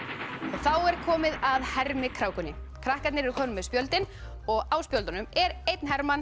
þá er komið að hermikrákunni krakkarnir eru komnir með spjöldin og á spjöldunum er einn